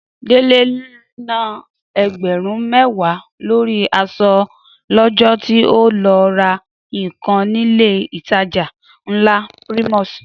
Délé na ẹgbẹ̀rún mẹ́wàá lórí aṣọ lọ́jọ́ tí ó lọ ra nǹkan nílé ìtajà ńlá Primus